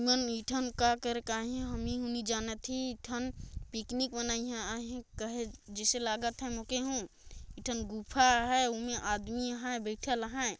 ऐमन मीठा म का करे है मन जानत ही पिकनिक मनइया आहय कहे जइसे लागत है मोके हु एक ठन गुफा आहय उमे आदमी आहय बइठल आहय।